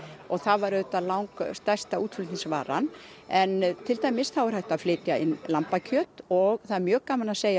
og það var auðvitað langstærsta útflutningsvaran en til dæmis þá er hægt að flytja inn lambakjöt og það er mjög gaman að segja